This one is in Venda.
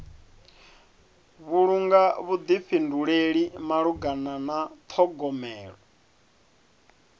vhulunga vhuḓifhinduleli malugana na ṱhogomelo